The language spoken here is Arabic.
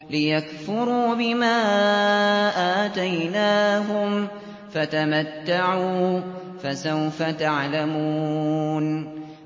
لِيَكْفُرُوا بِمَا آتَيْنَاهُمْ ۚ فَتَمَتَّعُوا ۖ فَسَوْفَ تَعْلَمُونَ